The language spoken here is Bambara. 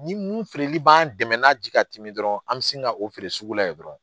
Ni mun feereli b'an dɛmɛ n'a ji ka timi dɔrɔn an mi sin ka o feere sugu la yen dɔrɔn